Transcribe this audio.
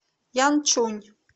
янчунь